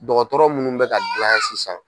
Dɔgɔtɔrɔ munnu bɛ ka gilan sisan.